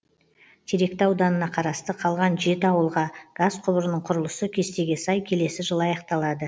теректі ауданына қарасты қалған жеті ауылға газ құбырының құрылысы кестеге сай келесі жылы аяқталады